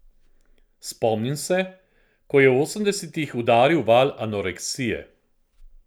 Spomnim se, ko je v osemdesetih udaril val anoreksije.